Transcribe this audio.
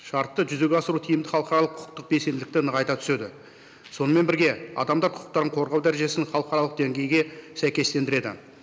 шартты жүзеге асыру тиімді халықаралық құқықтық белсенділікті нығайта түседі сонымен бірге адамдар құқықтарын қорғау дәрежесін халықаралық деңгейге сәйкестендіреді